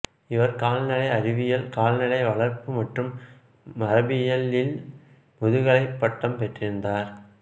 இவர் கால்நடை அறிவியல் கால்நடை வளர்ப்பு மற்றும் மரபியல் இல் முதுகலைப் பட்டம் பெற்றிருந்தார்